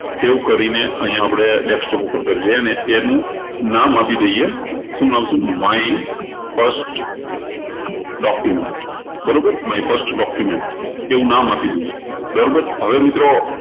save કરીને અહિયાં આપણે desktop ઉપર કરી લઈએ અને એનું નામ આપી દઈએ શું નામ આપશું my first document બરોબર my first document એવું નામ આપી દઈએ બરોબર હવે મિત્રો